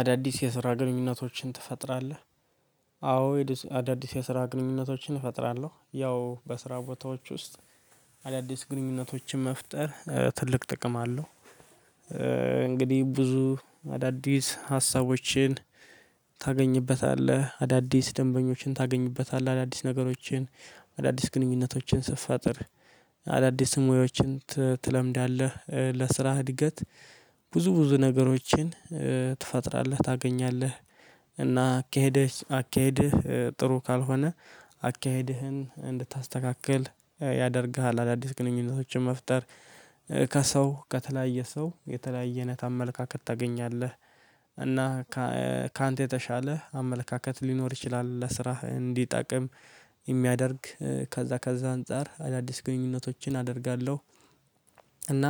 አዳዲስ የስራ ግንኙነቶችን ትፈጥራለህ? አዎ አዳዲስ የስራ ግንኙነቶችን እፈጥራለሁ ያው በስራ ቦታዎች ውስጥ አዳዲስ ግንኙነቶችን መፍጠር ትልቅ ጥቅም አለው። እንግዲህ ብዙ አዳዲስ ሀሳቦችን ታገኝበታለህ አዳዲስ ደንበኞችን ታገኝበታለህ አዳዲስ ነገሮችን አዳዲስ ግንኙነቶችን ስትፈጥር አዳዲስ ሞያዎዎችን ትለምዳለህ። ለስራህ እድገት ብዙ ብዙ ነገሮችን ትፈጥራለህ ታገኛለህ እና አካደህ አካሄድህ ጥሩ ካልሆነ አካሄድህን እንድታስተካክል ያደርግሃል። አዳዲስ ግንኙነቶችን መፍጠር ከሰው ከተለያየ ሰው የተለያየነት አመለካከት ታገኛለህ። እና ካንተ የተሻለ አመለካከት ሊኖር ይችላል ለስራህ እንዲጠቅም የሚያደርግ ከዛ ከዛ አንፃር አዳዲስ ግንኙነቶችን አደርጋለሁ። እና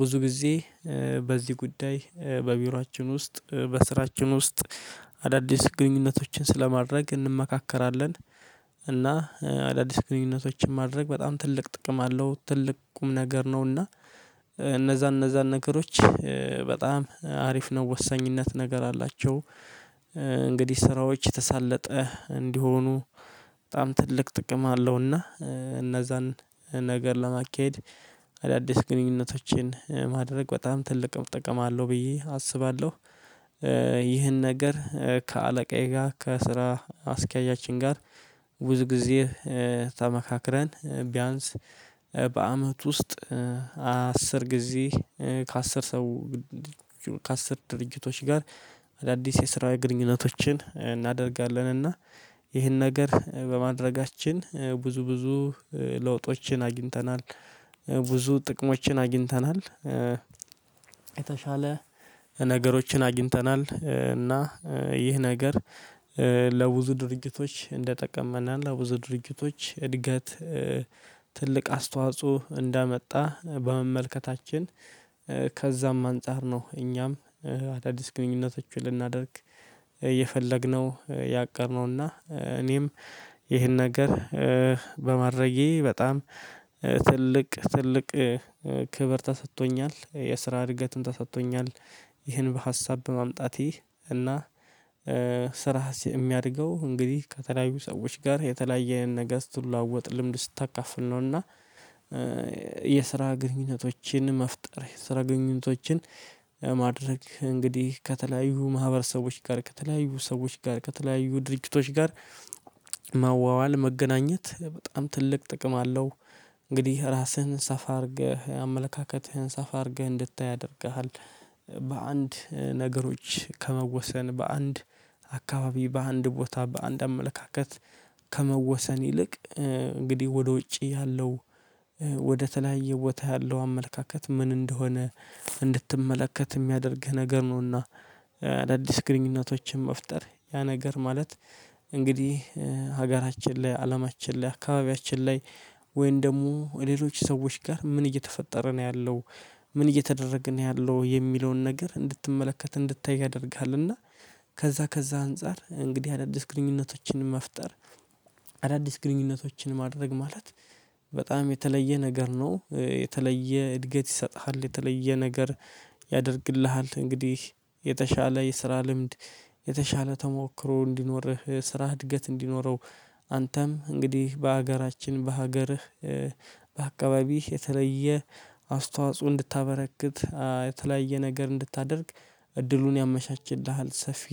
ብዙ ጊዜ በዚህ ጉዳይ በቢሮአችን ውስጥ በስራችን ውስጥ አዳዲስ ግንኙነቶችን ስለማድረግ እንመካከራለን። እና አዳዲስ ግንኙነቶችን ማድረግ በጣም ትልቅ ጥቅም አለው ትልቅ ቁም ነገር ነውና። እነዛ እነዛን ነገሮች በጣም አሪፍ ነው ወሳኝነት ነገር አላቸው። እንግዲህ ስራዎች ተሳለጠ እንዲሆኑ በጣም ትልቅ ጥቅም አለውና እነዛን ነገር ለማካሄድ አዳዲስ ግንኙነቶችን ማድረግ በጣም ትልቅ ጥቅም አለው ብዬ አስባለሁ። ይህን ነገር ከአለቃዬ ጋር ከስራ አስኬያጃችን ጋር ብዙ ጊዜ ተመካክረን ቢያንስ በአመት ውስጥ አስር ጊዜ ከአስር ሰው ከአስር ድርጅቶች ጋር አዳዲስ የስራ ግንኙነቶችን እናደርጋለንና። ይህን ነገር በማድረጋችን ብዙ ብዙ ለውጦችን አግኝተናል ብዙ ጥቅሞችን አግኝተናል። የተሻለ ነገሮችን አግኝተናል እና ይህ ነገር ለብዙ ድርጅቶች እንደጠቀመናል አቡዙ ድርጅቶች እድገት ትልቅ አስተዋጽኦ እንዳመጣ በመመልከታችን ከዛም አንፃር ነው። እኛም አዳዲስ ግንኙነቶችን ልናደርግ የፈለግነው ያቀረበውና እኔም ይሄን ነገር በማድረጌ በጣም ትልቅ ትልቅ ክብር ተሰጥቶኛል የስራ እድገትም ተሰጥቶኛል። ይሄን ሀሳብ በማምጣቴ እና ስራህስ የሚያድገው እንግዲህ ከተለያዩ ሰዎች ጋር የተለያዩ አይነት ነገር ስትለዋወጥ ልምድ ስታካፍል ነውና። የስራ ግንኙነቶችን መፍጠር የስራ ግንኙነቶችን ማድረግ እንግዲህ ከተለያዩ ማህበረሰቦች ጋር ከተለያዩ ሰዎች ከተለያዩ ድርጅቶች ጋር ማዋዋል መገናኘት በጣም ትልቅ ጥቅም አለው። እንግዲህ ራስህን ሰፋ አድርገህ አመለካከትህን ሰፋ አድርገህ እንድታይ ያደርግሃል። በአንድ ነገሮች ከመወሰን በአንድ ኣካባቢ በአንድ ቦታ በአንድ አመለካከት ከመወሰን ይልቅ እንግዲህ ወደ ዉጭ ያለው ወደተለያየ ቦታ ያለው አመለለካከት ምን እንደሆነ እንድትመለከት ሚያደርግህ ነገር ነውና። አዳዲስ ግንኙነቶችን መፍጠር ያነገር ማለት እንግዲህ ሀገራችን ላይ አለማችን ላይ አካባቢያችን ላይ ወይም ደግሞ ሌሎች ሰዎች ጋር ምን እየተፈጠረ ነው ያለው ምን እየተደረገ ነው ያለው የሚለውን ነገር እንድትመለክት እንድታይ ያደርግሃል። እና ከዛ ከዛ አንፃር አዳዲስ ግንኝኖቶችን መፍጠር። አዳዲስ ግንኙነቶችን ማድረግ ማለት በጣም የተለየ ነገር ነው የተለየ እድገት ይሰጥሃል የተለየ ነገር ያደርግሃል። እንግዲህ የተሻለ የስራ ልምድ የተሻለ ቶሞክሮ እንዲኖርህ ስራህ እድገት እንዲኖረ። አንተም እንግዲህ በሀገራችን በሃገርህ በአከባቢህ የተለየ አስተዋጾ እንድታበረክት የተለያየ ነገር እንድታረግ እድሉን ያመቻችልሃል። ሰፊ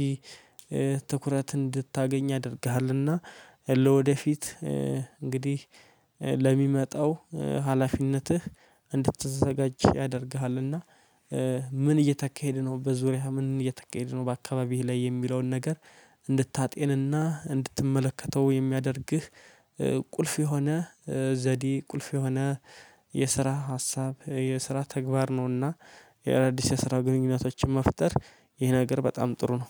ትኩረት እንድታገኝ ያደርግሃል እና ለወደፊት እንግድህ ለሚመጣው ሃላፊነትህ እንድትዘጋጅ ያደርግሃል። እና ምን እየተካሀደ ነው በዙርያህ ምን እየተካሄደ ነው በአከባቢህ ላይ የሚለው ነገር እንድታጤን እና እንድትመለከተው የሚያደርግህ ቁልፍ የሆነ ዘዴ ቁልፍ የሆነ የስራ ሀሳብ ነው። የስራ ተግባር ነውና የአዲስ የስራ ግንኙነቶችም መፍጠር ይህ ነገር በጣም ጥሩ ነው።